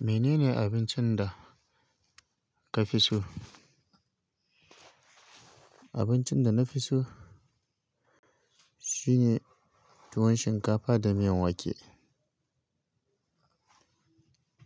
Menene abincin da ka fi so? Abincin da na fi so shine tuwon shinkafa da miyan wake.